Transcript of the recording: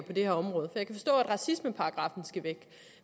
det her område jeg kan forstå at racismeparagraffen skal væk